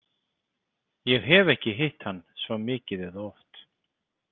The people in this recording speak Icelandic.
Ég hef ekki hitt hann svo mikið eða oft.